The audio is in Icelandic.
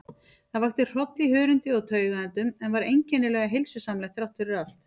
Það vakti hroll í hörundi og taugaendum, en var einkennilega heilsusamlegt þráttfyrir allt.